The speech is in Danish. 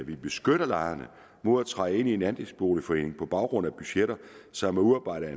vi beskytter lejerne mod at træde ind i en andelsboligforening på baggrund af budgetter som er udarbejdet